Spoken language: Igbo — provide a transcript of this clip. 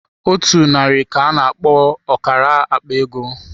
Otu narị ka-ana akpo ọkara akpa ego.